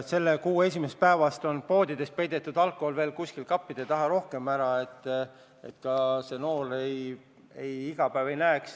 Selle kuu esimesest päevast on poodides alkohol peidetud veel rohkem kuskile kappide taha ära, et noored seda iga päev ei näeks.